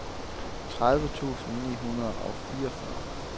tredive tusind ni hundrede og fireogfyrre